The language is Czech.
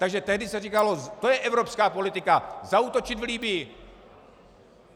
Takže tehdy se říkalo: to je evropská politika, zaútočit v Libyi.